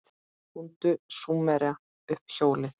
Fundu Súmerar upp hjólið?